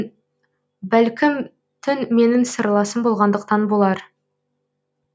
бәлкім түн менің сырласым болғандықтан болар